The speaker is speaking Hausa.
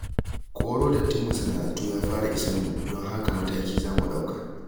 Koro dattin masana'antu ya fara isar mu, don haka mataki za mu ɗauka.